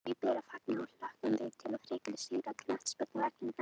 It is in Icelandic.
Því ber að fagna og hlökkum við til enn frekari sigra á knattspyrnuvellinum næstu árin!